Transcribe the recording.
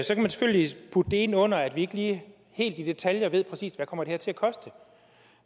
selvfølgelig putte det ind under at vi ikke lige helt i detaljer ved præcis hvad kommer til